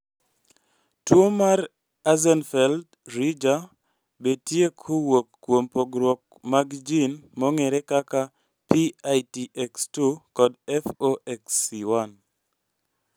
tuo mar Axenfeld-Rieger betie kowuok kuom pogruok mag jin mong'ere kaka PITX2 kod FOXC1